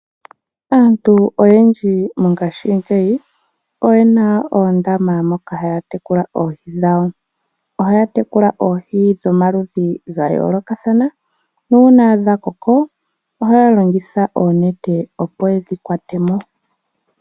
Aantu oyendji mongashingeyi oye na oondama moka haya tekula oohi dhawo. Ohaya tekula oohi dhomaludhi ga yoolokathana nuuna dha koko ohaya longitha oonete, opo ye dhi kwate mo.